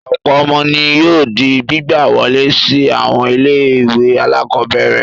Ọ̀pọ̀ ọmọ ni yóò di gbígbà wọlé sí àwọn ilé-ìwé alákọ̀ọ́bẹ̀rẹ̀.